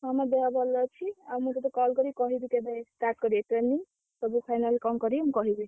ହଁ ମୋ ଦେହ ଭଲ ଅଛି। ଆଉ ମୁଁ ତତେ call କରି କହିବି, କେବେ start କରିବେ, training ସବୁ final କଣ କରି ମୁଁ କହିବି।